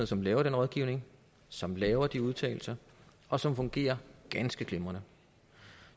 som laver den rådgivning som laver de udtalelser og som fungerer ganske glimrende